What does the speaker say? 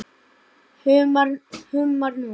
Humar úr